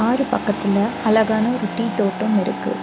ஆறு பக்கத்துல அழகான ஒரு டீ தோட்டம் இருக்கு.